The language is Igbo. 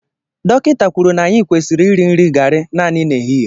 Dọkịta kwuru na anyị kwesịrị iri nri garị naanị n'ehihie.